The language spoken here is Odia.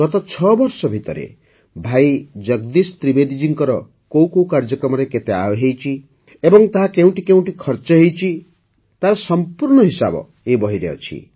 ଗତ ଛଅବର୍ଷ ଭିତରେ ଭାଇ ଜଗଦୀଶ ତ୍ରିବେଦୀ ଜୀଙ୍କର କେଉଁ କେଉଁ କାର୍ଯ୍ୟକ୍ରମରେ କେତେ ଆୟ ହୋଇଛି ଏବଂ ତାହା କେଉଁଠି କେଉଁଠି ଖର୍ଚ୍ଚ ହୋଇଛି ତାର ସମ୍ପୂର୍ଣ୍ଣ ହିସାବ ଏହି ବହିରେ ଅଛି